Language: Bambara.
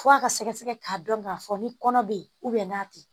F'a ka sɛgɛsɛgɛ k'a dɔn k'a fɔ ni kɔnɔ be yen n'a te yen